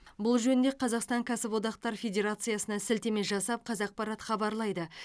бұл жөнінде қазақстан кәсіподақтар федерациясына сілтеме жасап қазақпарат хабарлайды